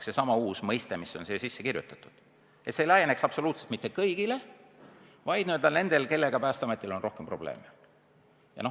Seega see uus kohustus, mis on siia sisse kirjutatud, ei laieneks kõigile, vaid nendele, kellega Päästeametil on rohkem probleeme.